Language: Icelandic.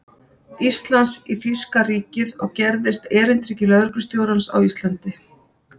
Íslands í þýska ríkið og gerðist erindreki lögreglustjórans á Íslandi.